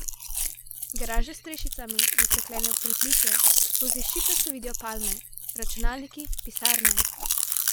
Garaže s strešicami, zastekljeno pritličje, skozi šipe se vidijo palme, računalniki, pisarne!